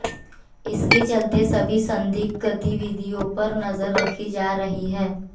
इसके चलते सभी संदिग्ध गतिविधियों पर नजर रखी जा रही है